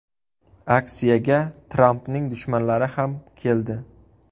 Aksiyaga Trampning dushmanlari ham keldi.